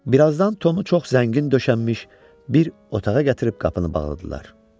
Birazdan Tomu çox zəngin döşənmiş bir otağa gətirib qapını bağladılar.